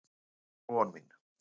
Það var von mín.